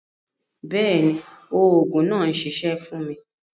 Bẹẹni, oogun naa n ṣiṣẹ fun mi.